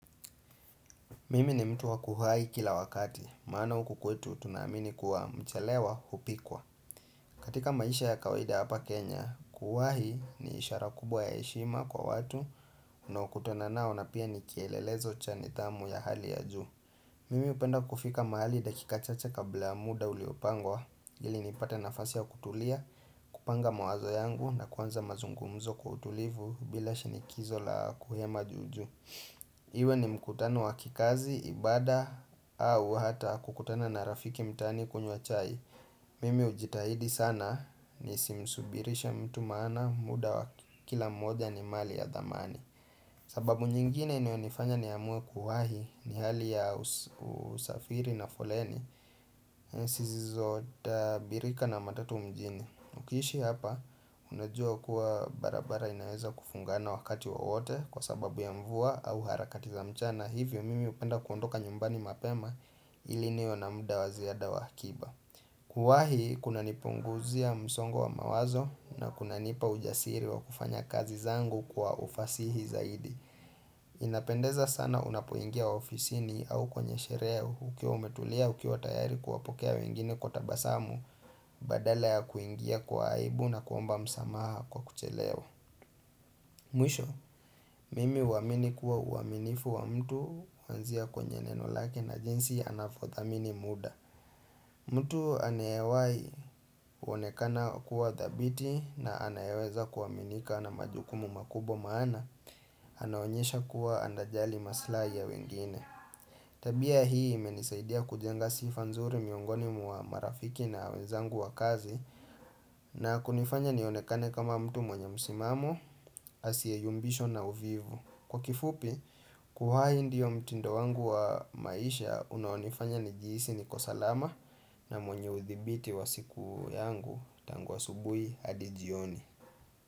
Mimi ni mtu wakuwahi kila wakati, maana uku kwetu tunaamini kuwa mchalewa upikwa. Katika maisha ya kawaida hapa Kenya, kuwahi ni ishara kubwa ya heshima kwa watu unaokutana nao na pia ni kielelezo cha nidhamu ya hali ya juu. Mimi upenda kufika mahali dakika chacha kabla muda uliopangwa ili nipate nafasi ya kutulia, kupanga mawazo yangu na kuanza mazungumzo kwa utulivu bila shinikizo la kuhema juu juu. Iwe ni mkutano wa kikazi, ibada au hata kukutana na rafiki mtaani kunywa chai Mimi ujitahidi sana nisimsubirishe mtu maana muda wa kila mmoja ni mali ya thamani. Sababu nyingine inayonifanya niamue kuwahi ni hali ya usafiri na foleni zisizotabirika na matatu mjini. Ukiishi hapa unajua kuwa barabara inaweza kufungana wakati wowote kwa sababu ya mvua au harakati za mchana, hivyo mimi upenda kuondoka nyumbani mapema ili niwe na muda wa ziada wa akiba. Kuwahi kunanipunguzia msongo wa mawazo na kunanipa ujasiri wa kufanya kazi zangu kwa ufasihi zaidi. Inapendeza sana unapoingia ofisini au kwenye sherehe huku ukiwa umetulia ukiwa tayari kuwapokea wengine kwa tabasamu badala ya kuingia kwa aibu na kuomba msamaha kwa kuchelewa. Mwisho, mimi uamini kuwa uaminifu wa mtu uanzia kwenye neno lake na jinsi anavothamini muda. Mtu anewai kuonekana kuwa thabiti na anayeweza kuaminika na majukumu makubwa maana anaonyesha kuwa anajali maslahi ya wengine Tabia hii imenisaidia kujenga sifa nzuri miongoni mwa marafiki na wenzangu wa kazi na kunifanya nionekane kama mtu mwenye msimamo, asiye yumbishwa na uvivu. Kwa kifupi, kuwahi ndio mtindo wangu wa maisha unaonifanya nijihisi niko salama na mwenye uthibiti wa siku yangu tangu asubui hadi jioni.